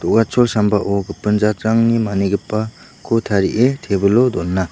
do·gachol sambao gipin jatrangni manigipako tarie tebilo dona.